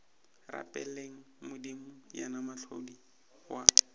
rapeleng modimo yena mohlodi wa